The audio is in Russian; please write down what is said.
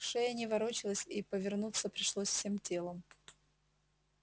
шея не ворочалась и повернуться пришлось всем телом